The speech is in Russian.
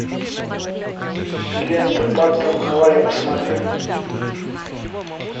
лента паттон давай я посмотрю